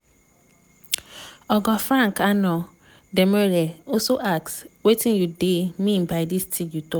oga frank annor domoreh also ask "wetin you dey mean by dis tin you tok?"